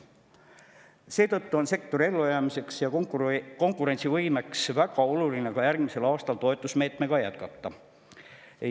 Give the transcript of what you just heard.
Seetõttu on sektori ellujäämise ja konkurentsivõime huvides väga oluline ka järgmisel aastal toetusmeedet jätkata.